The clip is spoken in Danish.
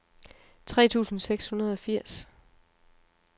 tre tusind seks hundrede og firs